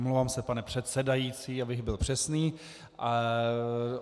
Omlouvám se, pane předsedající, abych byl přesný.